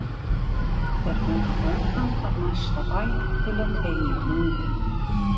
Þeir fengu bónda af næsta bæ til að teygja hundinn